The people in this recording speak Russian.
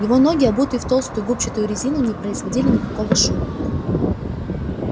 его ноги обуты в толстую губчатую резину не производили никакого шума